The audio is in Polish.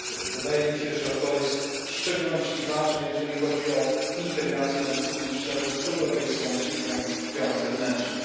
Wydaje mi się, że to jest w szczególności ważne, jeżeli chodzi o integrację na wysokim szczeblu z Europejską Służbą Działań Zewnętrznych.